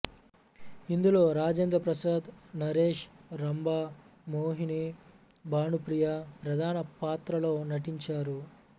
ఇందులో రాజేంద్ర ప్రసాద్ నరేష్ రంభ మోహిని భానుప్రియ ప్రధాన పాత్రల్లో నటించారు